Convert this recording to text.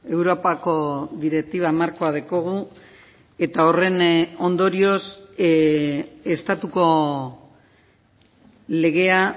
europako direktiba markoa daukagu eta horren ondorioz estatuko legea